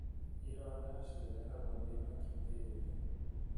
ironda cirehagwo nĩ bakiteria.